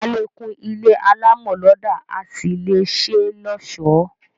A lè kún ilé alámọ̀ lọ́dà, a sì lè ṣé lọ́ọ̀sọ́